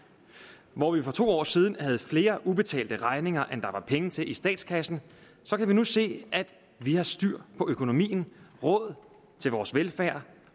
hvor vi for to år siden havde flere ubetalte regninger end der var penge til i statskassen kan vi nu se at vi har styr på økonomien råd til vores velfærd